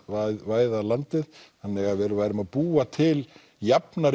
væða landið þannig að við værum að búa til jafnari